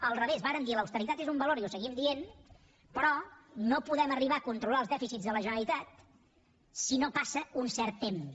a l’inrevés vàrem dir l’austeritat és un valor i ho seguim dient però no podem arribar a controlar els dèficits de la generalitat si no passa un cert temps